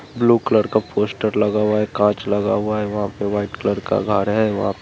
blue colour का poster लगा हुआ है काँच लगा हुआ है वहाँ पे व्हाइट कलर का घर है व --